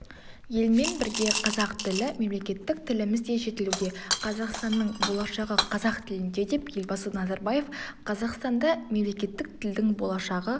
елмен бірге қазақ тілі мемлекеттік тіліміз де жетілуде қазақстанның болашағы қазақ тілінде деп елбасы назарбаев қазақстанда мемлекеттік тілдің болашағы